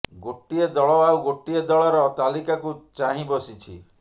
ଗୋଟିଏ ଦଳ ଆଉ ଗୋଟିଏ ଦଳର ତାଲିକାକୁ ଚାହିଁ ବସିଛି